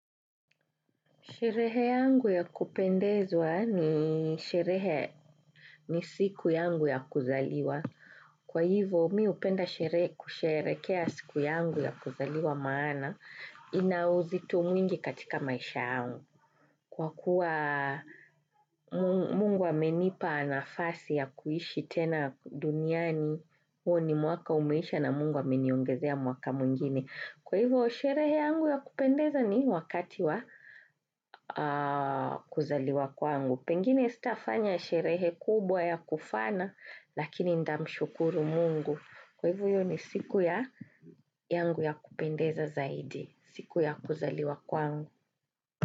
Sherehe yangu ya kupendezwa ni sherehe ni siku yangu ya kuzaliwa. Kwa hivyo mi hupenda kusherekea siku yangu ya kuzaliwa maana ina uzito mwingi katika maisha yangu. Kwa kuwa mungu amenipa nafasi ya kuishi tena duniani, huo ni mwaka umeisha na mungu ameniongezea mwaka mwingine. Kwa hivyo, sherehe yangu ya kupendeza ni wakati wa kuzaliwa kwangu. Pengine sitafanya sherehe kubwa ya kufana, lakini ndamshukuru mungu. Kwa hivyo, ni siku ya yangu ya kupendeza zaidi, siku ya kuzaliwa kwangu.